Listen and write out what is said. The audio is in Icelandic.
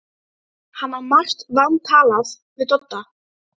Hann á margt vantalað við Dodda.